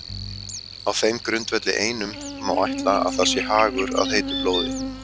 Á þeim grundvelli einum má ætla að það sé hagur að heitu blóði.